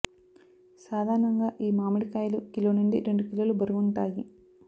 సాధారణంగా ఈ మామిడి కాయలు కిలో నుండి రెండు కిలోలు బరువుంటాయి